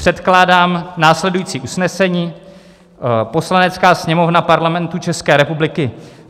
Předkládám následující usnesení: "Poslanecká sněmovna Parlamentu České republiky